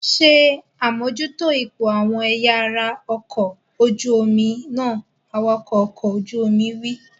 Ṣé àmójútó ipò àwọn ẹ̀yà ara ọkọ̀ ojú omi náà! Awakọ̀ ọkọ̀ ojú omi wí.